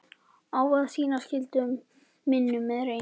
Á að sinna skyldu mínum með reisn.